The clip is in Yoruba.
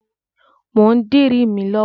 Mò ń dirí mi lọ́wọ́.